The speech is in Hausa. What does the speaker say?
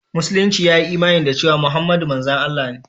Musulunci ya yi imani da cewa Muhammadu manzon Allah ne.